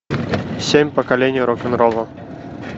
семь поколений рок н ролла